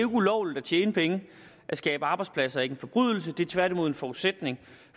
ulovligt at tjene penge og at skabe arbejdspladser er ikke en forbrydelse det er tværtimod en forudsætning